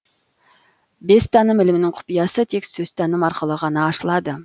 бестаным ілімінің құпиясы тек сөзтаным арқылы ғана ашылады